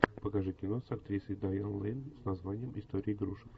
покажи кино с актрисой дайан лэйн с названием история игрушек